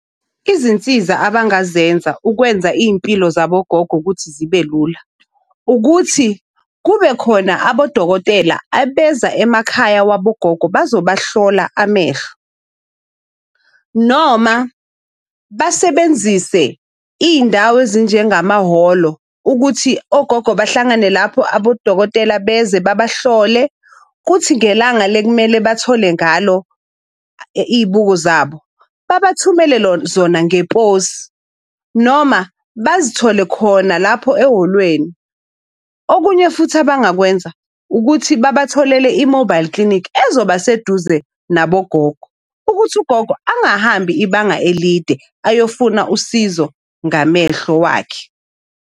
Izinsiza abangazenza ukwenza iy'mpilo zabo gogo ukuthi zibe lula, ukuthi kube khona abodokotela abeza emakhaya wabo gogo bazobahlola amehlo. Noma basebenzise iy'ndawo ezinjengamahholo ukuthi ogogo bahlangane lapho abodokotela beze babahlole, kuthi ngelanga le kumele bathole ngalo iy'buko zabo, babathumele zona ngeposi, noma bazithole khona lapho ehholweni. Okunye futhi abangakwenza ukuthi babatholele i-mobile clinic ezoba seduze nabogogo ukuthi ugogo angahambi ibanga elide ayofuna usizo ngamehlo wakhe.